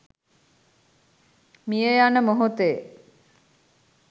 මිය යන මොහොතේ